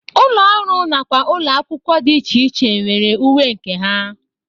Ụlọ ọrụ nakwa ụlọ akwụkwọ dị iche iche nwere uwe nke ha.